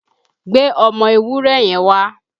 Gbé ọmọ ewúré yẹn wá!